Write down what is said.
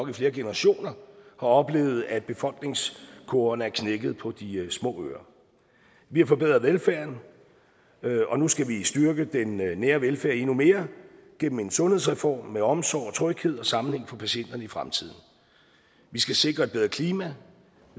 i flere generationer har oplevet at befolkningskurverne er knækket på de små øer vi har forbedret velfærden og nu skal vi styrke den nære velfærd endnu mere gennem en sundhedsreform med omsorg tryghed og samling for patienterne i fremtiden vi skal sikre et bedre klima